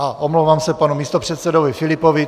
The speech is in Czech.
A omlouvám se panu místopředsedovi Filipovi.